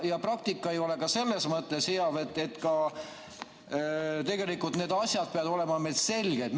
Ja praktika ei ole ka selles mõttes hea, et tegelikult peavad need asjad olema meil selged.